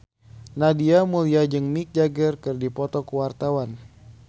Nadia Mulya jeung Mick Jagger keur dipoto ku wartawan